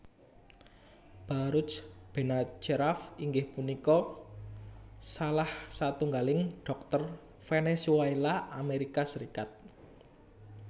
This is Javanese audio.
Baruj Benacerraf inggih punika salah satunggaling dhokter Venezuela Amerika Serikat